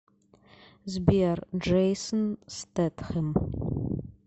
сбер джейсн стетхэм